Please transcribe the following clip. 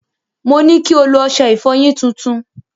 Mo ní kí o lo ọṣẹ ìfọyín tuntun.